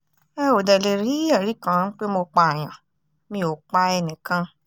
ẹ ò dẹ̀ lè rí ẹ̀rí kan pé mo pààyàn mi ò pa enìkan